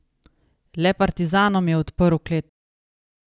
Le partizanom je odprl klet.